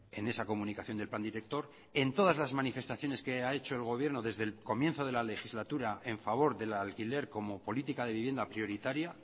en esa comunicación del plan director en todas las manifestaciones que ha hecho el gobierno desde el comienzo de la legislatura en favor del alquiler como política de vivienda prioritaria